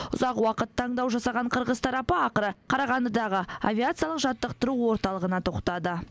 ұзақ уақыт таңдау жасаған қырғыз тарапы ақыры қарағандыдағы авиациялық жаттықтыру орталығына тоқтады